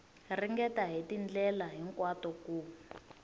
ringeta hi tindlela hinkwato ku